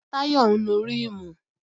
Táyọ̀ ń nu ríìmù